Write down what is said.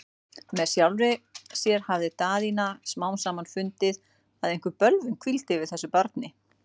Með sjálfri sér hafði Daðína smám saman fundið, að einhver bölvun hvíldi yfir þessu barni.